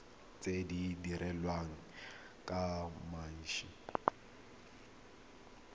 tse di dirilweng ka mashi